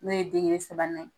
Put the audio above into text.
N'o ye degere sabanan ye